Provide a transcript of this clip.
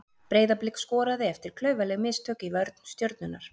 Breiðablik skoraði eftir klaufaleg mistök í vörn Stjörnunnar.